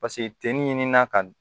Paseke tenni ɲinini na ka n